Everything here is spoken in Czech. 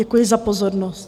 Děkuji za pozornost.